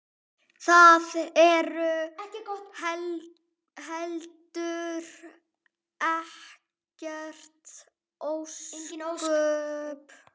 Það eru heldur engin ósköp.